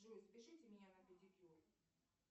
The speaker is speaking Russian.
джой запишите меня на педикюр